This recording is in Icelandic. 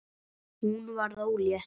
Hún varð ólétt.